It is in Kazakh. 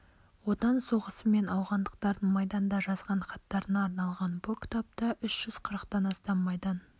отан соғысы мен ауғандықтардың майданда жазған хаттарына арналған бұл кітапта үш жүз қырықтан астам майдан